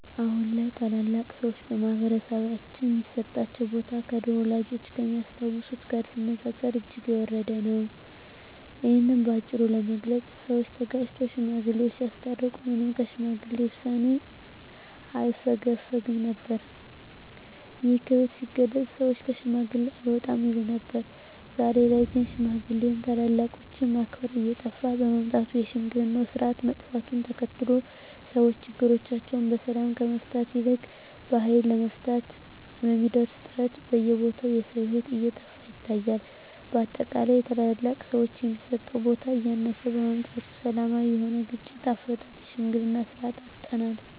አሁን ላይ ታላላቅ ሰዎች በማህበረሰባችን ሚሰጣቸው ቦታ ከድሮው ወላጆቻችን ከሚያስታውሱት ጋር ሲነጻጸር እጅግ የወረደ ነው። እሂን በአጭሩ ለመግለጽ ሰወች ተጋጭተው ሽማግሌወች ሲያስታርቁ ማንም ከሽማግሌ ውሳኔ አያፈገፍግም ነበር። ይህም ክብር ሲገለጽ ሰወች ከሽማግሌ አልወጣም ይሉ ነበር። ዛሬ ላይ ግን ሽማግሌ ወይም ታላላቆችን ማክበር እየጠፋ በመምጣቱ የሽምግልናው ስርአት መጥፋቱን ተከትሎ ሰወች ችግሮቻቸውን በሰላም ከመፍታት ይልቅ በሀይል ለመፍታት በሚደረግ ጥረት በየቦታው የሰው ሂወት እየጠፋ ይታያል። በአጠቃላይ ለታላላቅ ሰወች የሚሰጠው ቦታ እያነሰ በመምጣቱ ሰላማዊ የሆነውን የግጭት አፈታት የሽምግልናን ስርአት አጠናል።